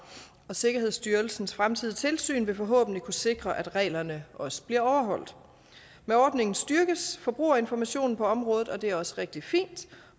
og sikkerhedsstyrelsens fremtidige tilsyn vil forhåbentlig kunne sikre at reglerne også bliver overholdt med ordningen styrkes forbrugerinformationen på området og det er også rigtig fint